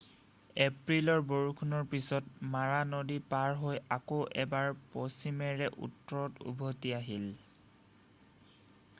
এপ্ৰিলৰ বৰষুণৰ পিছত মাৰা নদী পাৰ হৈ আকৌ এবাৰ পশ্চিমেৰে উত্তৰত উভতি আহিল